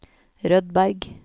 Rødberg